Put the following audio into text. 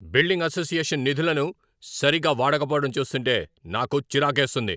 Building association నిధులను సరిగా వాడకపోవడం చూస్తుంటే నాకు చిరాకేస్తుంది.